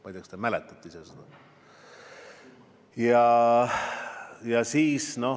Ma ei tea, kas te seda ise mäletate.